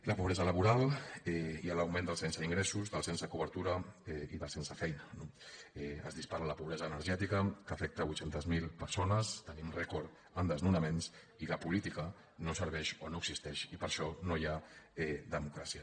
la pobresa laboral i l’augment dels sense ingressos dels sense cobertura i dels sense feina no es dispara la pobresa energètica que afecta vuit cents miler persones tenim rècord en desnonaments i la política no serveix o no existeix i per això no hi ha democràcia